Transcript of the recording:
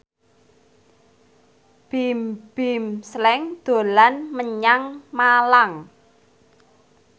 Bimbim Slank dolan menyang Malang